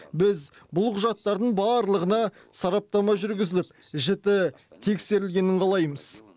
біз бұл құжаттардың барлығына сараптама жүргізіп жіті тексерілгенін қалаймыз